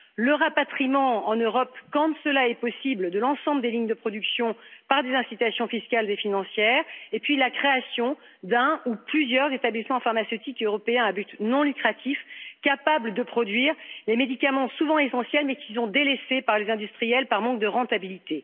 le rapatriement en Europe, quand cela est possible, de l'ensemble des lignes de production, par des incitations fiscales et financières, et enfin la création d'un ou plusieurs établissements pharmaceutiques européens à but non lucratif, capables de produire les médicaments souvent essentiels, mais qui sont délaissés par les industriels, par manque de rentabilité.